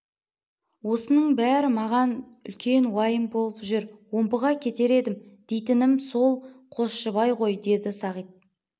осының бәрі маған үлкен уайым боп жүр омбыға кетер едім дейтінім сол қосшыбай ғой деді сағит